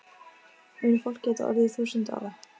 Mun fólk geta orðið þúsund ára?